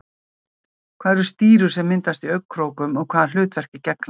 Hvað eru stírur sem myndast í augnkrókum og hvaða hlutverki gegna þær?